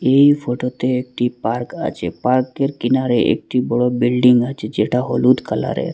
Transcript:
এই ফটোতে একটি পার্ক আছে পার্কের কিনারে একটি বড় বিল্ডিং আছে যেটা হলুদ কালারের।